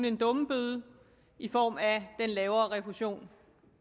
en dummebøde i form af den lavere refusion